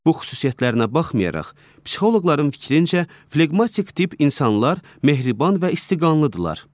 Bu xüsusiyyətlərinə baxmayaraq, psixoloqların fikrincə, fleqmatik tip insanlar mehriban və isti qanlıdırlar.